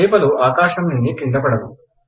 చేపలు ఆకాశంనుండి క్రింద పడును